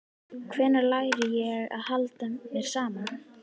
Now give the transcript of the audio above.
Hvenær læri ég að halda mér saman?